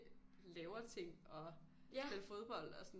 Laver ting og spiller fodbold og sådan